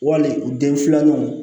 Wali u den filananw